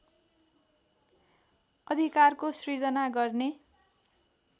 अधिकारको सृजना गर्ने